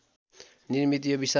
निर्मित यो विशाल